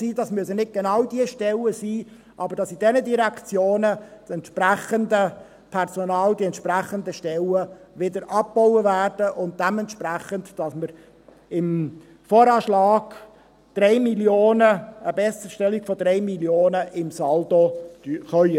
Es müssen nicht genau diese Stellen sein, aber dass die Stellen in diesen Direktionen wieder abgebaut werden, und dass wir dementsprechend im VA eine Besserstellung um 3 Mio. Franken im Saldo erreichen können.